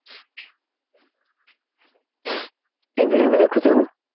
TV ରେ ବି ଦେଖୁଥିବୁ